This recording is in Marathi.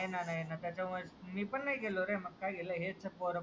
नाही, नाही, नाही. मी पण नाही गेलो रे हेच पोरं पोरं